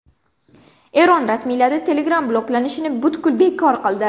Eron rasmiylari Telegram bloklanishini butkul bekor qildi.